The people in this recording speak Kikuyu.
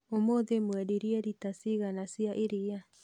Ũmũthĩ mwendirie lita cigana cia iria?